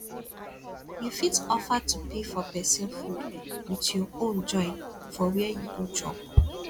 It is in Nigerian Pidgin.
you fit offer to pay for persin food with your own join for where you go chop